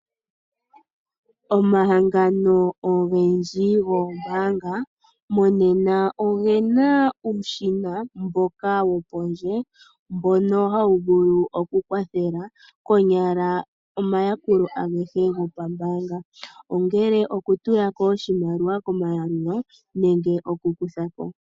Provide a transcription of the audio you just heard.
Omahangano ogendji goombaanga monena oge na omashina gopondje ngoka haga vulu okukwathela konyala omayakulo agehe gopambaanga, ongele okutula ko oshimaliwa komayalulo nenge okukutha ko.